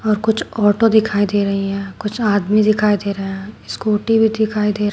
और कुछ ऑटो दिखाई दे रही है कुछ आदमी दिखाई दे रहा है स्कूटी भी दिखाई दे रहा --